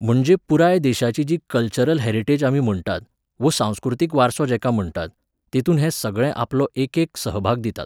म्हणजे पुराय देशाची जी कल्चरल हॅरिटेज आमी म्हणटात, वो सांस्कृतीक वारसो जेका म्हणटात, तेतूंत हे सगळे आपलो एकेक सहभाग दितात